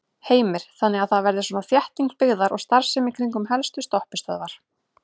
Heimir: Þannig að það verði svona þétting byggðar og starfsemi í kringum helstu stoppistöðvar?